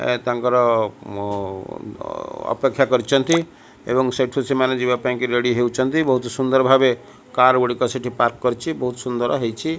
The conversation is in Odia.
ଏ ତାଙ୍କର ଅପେକ୍ଷା କରିଚନ୍ତି ଏବଂ ସେଠୁ ସେମାନେ ଯିବାପାଇଁ ରେଡି ହୋଉଚନ୍ତି ବୋହୁତ ସୁନ୍ଦର ଭାବେ କାର ଗୁଡିକ ସେଠି ପାର୍କ କରିଚି ବୋହୁତ ସୁନ୍ଦର ହେଇଚି।